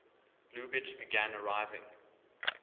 lubitsch began arriving